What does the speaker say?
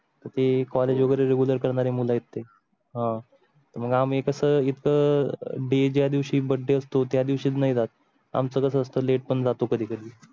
तर ती college वगैरे Regular करणारे मुळे ते आह मग आम्ही कसं इथं ड day ज्या दिवशी birthday त्या दिवशी तुम्ही जात आमचं कसं असतं late पण जातो कधी कधी.